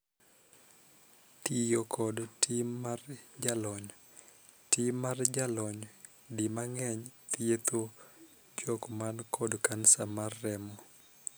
Tiyo kod tim mar jolony. Tim mar jolony di mang'eny thietho jok man kod kansa mar remo.